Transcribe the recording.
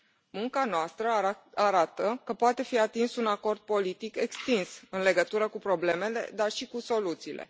Munca noastră arată că poate fi atins un acord politic extins în legătură cu problemele, dar și cu soluțiile.